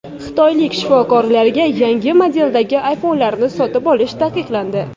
Xitoylik shifokorlarga yangi modeldagi iPhone’larni sotib olish taqiqlandi.